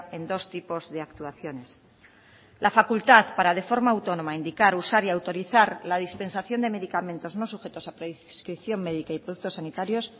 en dos tipos de actuaciones la facultad para de forma autónoma indicar usar y autorizar la dispensación de medicamentos no sujetos a prescripción médica y productos sanitarios